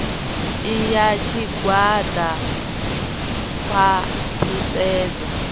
i ya tshigwada khwa ṱhisedzo